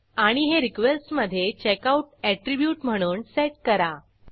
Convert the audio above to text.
आणि हे रिक्वेस्ट मधे चेकआउट अॅट्रीब्यूट म्हणून सेट करा